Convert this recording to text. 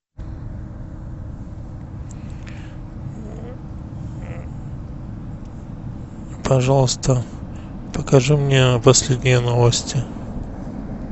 пожалуйста покажи мне последние новости